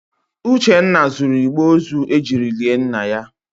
Uchenna zuru igbe ozu ejiri lie nna ya.